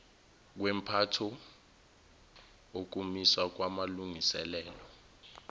kwempatho ukumiswa kwamalungiselelo